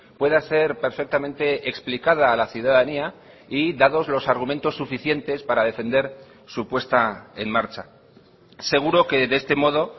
pueda ser perfectamente explicada a la ciudadanía y dados los argumentos suficientes para defender su puesta en marcha seguro que de este modo